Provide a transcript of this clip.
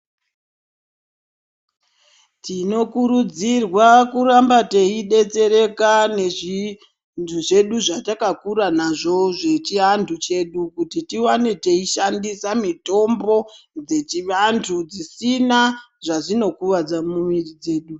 Tinokurudzirwa kuramba teibetsereka nezvinhu zvedu zvatakakura nazvo zvechiantu chedu. Kuti tivane teishandisa mitombo dzechivantu dzisina zvezvinokuvadza mumwiri dzedu.